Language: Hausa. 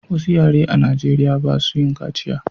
Wasu yare a najeriya ba su yin kaciya